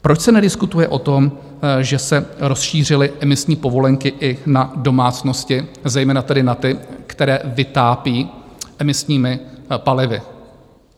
Proč se nediskutuje o tom, že se rozšířily emisní povolenky i na domácnosti, zejména tedy na ty, které vytápí emisními palivy?